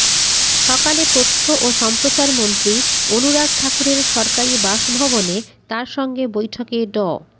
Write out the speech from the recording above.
সকালে তথ্য ও সম্প্রচারমন্ত্রী অনুরাগ ঠাকুরের সরকারি বাসভবনে তাঁর সঙ্গে বৈঠকে ড